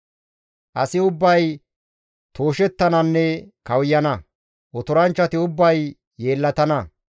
Asi ubbay tooshettananne kawuyana; otoranchchati ubbay yeellatana.